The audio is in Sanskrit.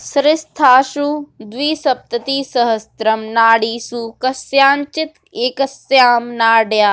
शरीरस्थासु द्विसप्ततिसहस्रं नाडीषु कस्याञ्चित् एकस्यां नाडयां